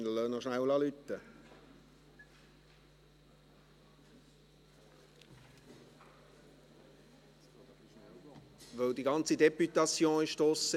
Wir lassen noch kurz läuten, weil die ganze Députation draussen ist.